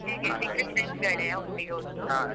ಹೇಗೆ degree friends ಗಳೆಯ ಒಟ್ಟಿಗೆ ಓದುದು? ,